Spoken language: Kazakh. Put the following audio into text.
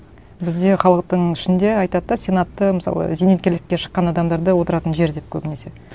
бізде халықтың ішінде айтады да сенатты мысалы зейнеткерлікке шыққан адамдарды отыратын жер деп көбінесе